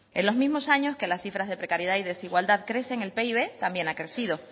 en los mismos años que las cifras de precariedad y desigualdad crecen el pib también ha crecido